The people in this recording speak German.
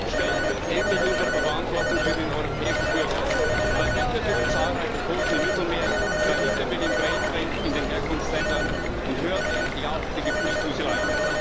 Stellen wir uns endlich unserer Verantwortung für den europäischen Bürger, verhindern wir die zahlreichen Toten im Mittelmeer, verhindern wir den Braindrain in den Herkunftsländern und hören wir endlich auf mit der Gefühlsduselei!